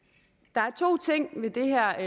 der er to ting ved det her